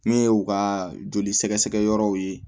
Min ye u ka joli sɛgɛsɛgɛ yɔrɔw ye